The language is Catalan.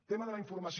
tema de la informació